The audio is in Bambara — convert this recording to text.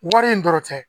Wari in dɔrɔn tɛ